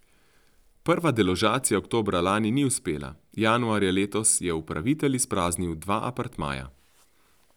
Prva deložacija oktobra lani ni uspela, januarja letos je upravitelj izpraznil dva apartmaja.